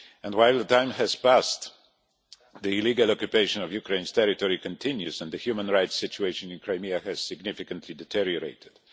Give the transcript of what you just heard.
While time has passed, the illegal occupation of Ukraine's territory continues and the human rights situation in Crimea has significantly deteriorated.